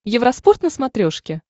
евроспорт на смотрешке